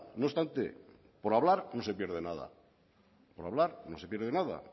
no obstante por hablar no se pierde nada por hablar no se pierde nada